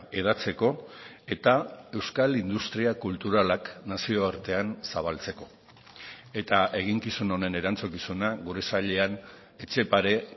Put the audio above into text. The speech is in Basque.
hedatzeko eta euskal industria kulturalak nazioartean zabaltzeko eta eginkizun honen erantzukizuna gure sailean etxepare